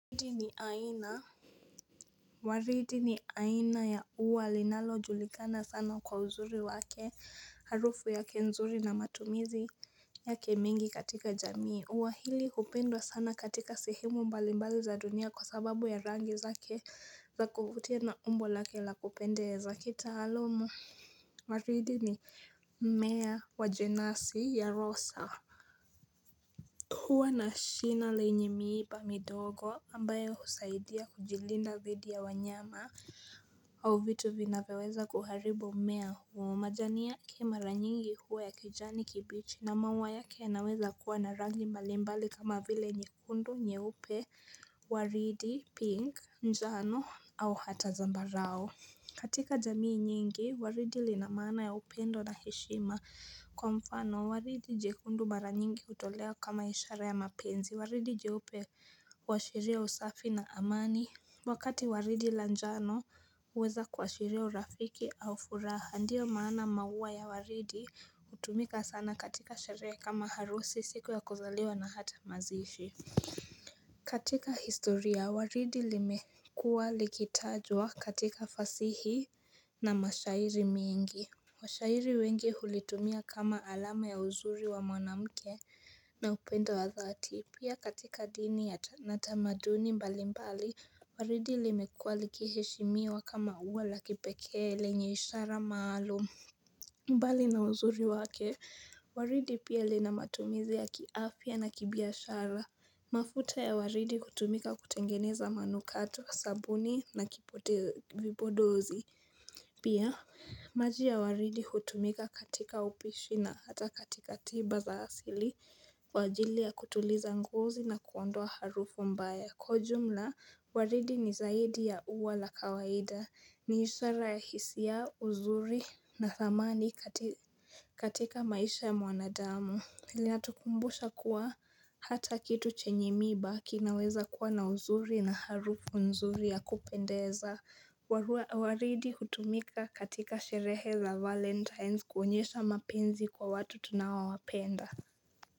Waridi ni aina Waridi ni aina ya ua linalo julikana sana kwa uzuri wake harufu yake nzuri na matumizi yake mingi katika jamii ua hili hupendwa sana katika sehemu mbalimbali za dunia kwa sababu ya rangi zake za kuvutia na umbo lake la kupendeza za kitaalumu Waridi ni mmea wa jenasi ya rosa huwa na shina lenye miiba midogo ambayo husaidia kujilinda dhidi ya wanyama au vitu vinaweweza kuharibu mmea huo. Majani yake mara nyingi huwa ya kijani kibichi na maua yake yanaweza kuwa na rangi malimbali kama vile nyekundu nyeupe waridi pink njano au hata zambarao. Katika jamii nyingi, waridi lin maana ya upendo na heshima kwa mfano, waridi jekundu mara nyingi utolewa kama ishara ya mapenzi, waridi jiupe huashiriaa usafi na amani. Wakati waridi la njano uweza kuashiria urafiki au furaha, ndio maana maua ya waridi utumika sana katika sherehe kama harusi, siku ya kuzaliwa na hata mazishi. Katika historia waridi limekuwa likitajwa katika fasihi na mashairi mingi Washairi wengi hulitumia kama alama ya uzuri wa mwanamke na upendo wa dhati Pia katika dini na tamaduni mbali mbali Waridi limekua likiheshimiwa kama ua la kipekee lenye ishara maalum mbali na uzuri wake Waridi pia lina matumizi ya kiafya na kibiashara mafuta ya waridi hutumika kutengeneza manukatu, sabuni na kipote vipodozi Pia, maji ya waridi hutumika katika upishi na hata katika tiba za asili Kwa ajili ya kutuliza ngozii na kuondoa harufu mbaya Kwa j ujumla, waridi ni zaidi ya ua la kawaida ni ishara ya hsia, uzuri na thamani katika maisha ya mwanadamu inatukumbusha kuwa hata kitu chenye miba kinaweza kuwa na uzuri na harufu nzuri ya kupendeza waridi hutumika katika sherehe za valentines kuonyesha mapenzi kwa watu tunaowawapenda.